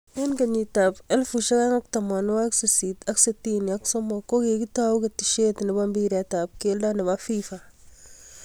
Eng 1863 ko kikitou keteshe ne bo mpiret ab kelto ne bo FIFA.